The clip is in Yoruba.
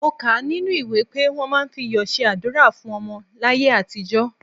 Mo kà á nínú ìwé pé wọ́n máa ń fi iyọ̀ ṣe àdúrà fún ọmọ láyé àtijọ́.